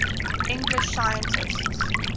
english scientists